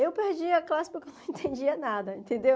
Eu perdi a classe porque eu não entendia nada, entendeu?